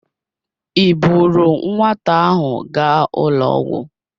Ị buuru nwata ahụ gaa ụlọ ọgwụ?